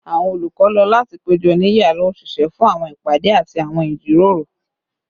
Awọn olukọ lo lati pejọ ni yara oṣiṣẹ fun awọn ipade ati awọn ijiroro